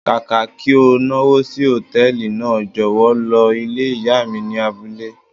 Kàkà kí o náwó sí Hòtẹ́lìì náà, jọ̀wọ́ lọ lo ilé ìyá mi ni abúlé.